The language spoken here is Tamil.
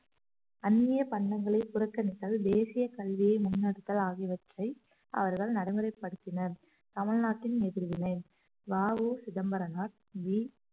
அந்நிய பண்டங்களை புறக்கணித்தல் தேசிய கல்வியை முன்னெடுத்தல் ஆகியவற்றை அவர்கள் நடைமுறைப்படுத்தினர் தமிழ்நாட்டின் எதிர்வினை வ உ சிதம்பரனார் வி